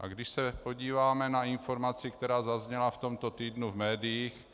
A když se podíváme na informaci, která zazněla v tomto týdnu v médiích,